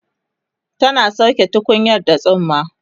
tana sauke tukunyar da tsumma